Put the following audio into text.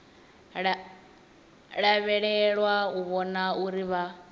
lavhelelwa u vhona uri vha